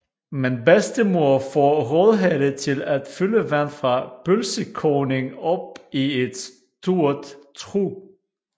Men bedstemor får Rødhætte til at fylde vand fra pølsekogning op i et stort trug